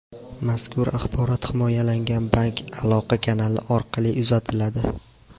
Mazkur axborot himoyalangan bank aloqa kanali orqali uzatiladi.